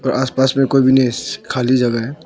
आसपास में कोई भी नहीं इस खाली जगह है।